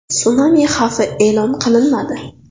Sunami xavfi e’lon qilinmadi.